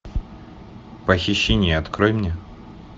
похищение открой мне